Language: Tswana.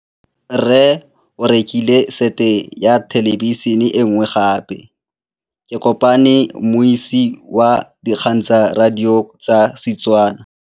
Rre o rekile sete ya thêlêbišênê e nngwe gape. Ke kopane mmuisi w dikgang tsa radio tsa Setswana.